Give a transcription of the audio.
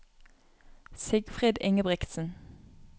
Sigfrid Ingebrigtsen